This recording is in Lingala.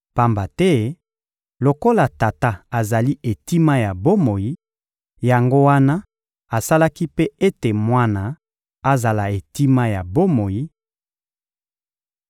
pamba te lokola Tata azali etima ya bomoi, yango wana asalaki mpe ete Mwana azala etima ya bomoi;